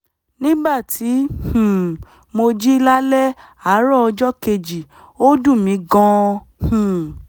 nígbà tí um mo jí lálẹ́ àárọ̀ ọjọ́ kejì ó dùn mí gan-an um